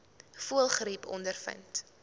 voëlgriep ondervind